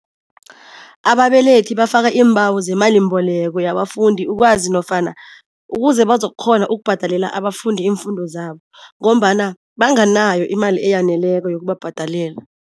Ababelethi bafaka iimbawo zemalimbeleko yabafundi ukwazi nofana ukuze bazokukghona ukubhadelela abafundi iimfundo zabo ngombana banganayo imali eyaneleko yokubabhadalela.